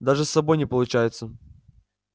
даже с собой не получается